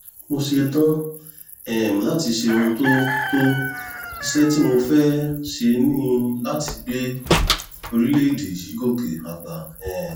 mo ṣetán um láti ṣe ohun tó tó iṣẹ́ tí mo fẹ́ẹ́ ṣe ni láti gbé orílẹ̀‐èdè yìí gòkè àgbà um